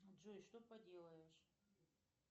джой что поделаешь